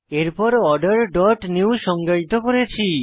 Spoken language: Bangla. এরপরOrder ডট নিউ সংজ্ঞায়িত করেছি